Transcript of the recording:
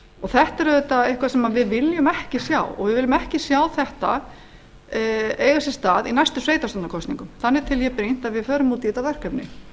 þetta er auðvitað eitthvað sem við viljum ári sjá og við viljum ekki sjá þetta eiga sér stað í næstu sveitarstjórnarkosningum þannig tel ég brýnt að við förum út í þetta verkefni ég